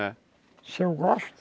É. Se eu gosto?